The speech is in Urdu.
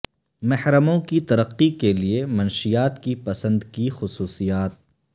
محرموں کی ترقی کے لئے منشیات کی پسند کی خصوصیات